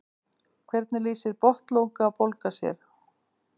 hvernig lýsir botnlangabólga sér